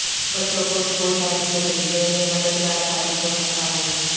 بچوں کو school time سے بھیجنے میں مددگار ثابت ہو سکتا ہے